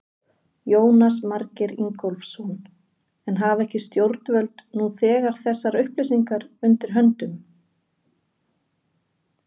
Jónas Margeir Ingólfsson: En hafa ekki stjórnvöld nú þegar þessar upplýsingar undir höndum?